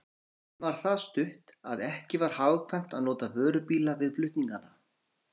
Leiðin var það stutt, að ekki var hagkvæmt að nota vörubíla við flutningana.